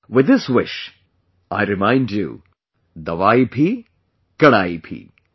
With this wish, I remind you 'dawai bhi, kadaai bhi'